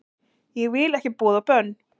Ég vil ekki boð og bönn